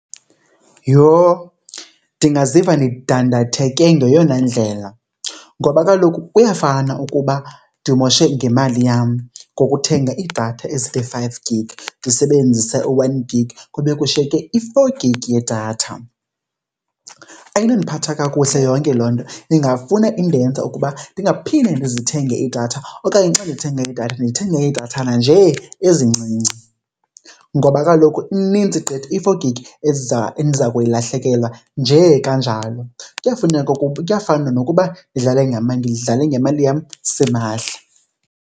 Yho, ndingaziva ndidandatheke ngeyona ndlela ngoba kaloku kuyafana ukuba ndimoshe ngemali yam ngokuthenga iidatha ezithi five gig ndisebenzise u-one gig kube kushiyeke i-four gig yedatha. Ayinondiphatha kakuhle yonke loo nto, ingafuna indenza ukuba ndingaphinde ndizithenge iidatha okanye xa ndithenga idatha ndithenge iidathana nje ezincinci. Ngoba kaloku ininzi gqithi i-four gig endiza kuyilahlekelwa nje kanjalo. Kuyafuneka , kuyafana nokuba ndidlale ngemali, ndidlale ngemali yam simahla.